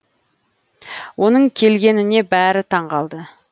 оның келгеніне бәрі таң қалды